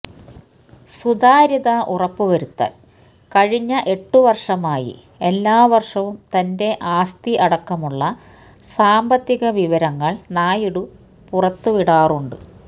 സുതാര്യത ഉറപ്പുവരുത്താന് കഴിഞ്ഞ എട്ട് വര്ഷമായി എല്ലാ വര്ഷവും തന്റെ ആസ്തി അടക്കമുള്ള സാമ്പത്തിക വിവരങ്ങള് നായിഡു പുറത്തുവിടാറുണ്ട്